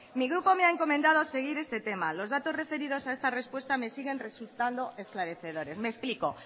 mi grupo me ha encomendado seguir este tema los datos referidos a esta respuesta me siguen resultando esclarecedores me explico